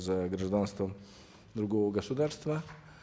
за гражданством другого государства